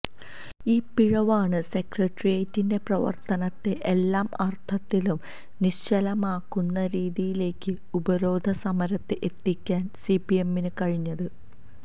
ഈ പിഴവാണ് സെക്രട്ടറിയേറ്റിന്റെ പ്രവർത്തനത്തെ എല്ലാ അർത്ഥത്തിലും നിശ്ചലമാക്കുന്ന രീതിയിലേക്ക് ഉപരോധ സമരത്തെ എത്തിക്കാൻ സിപിഎമ്മിന് കഴിഞ്ഞത്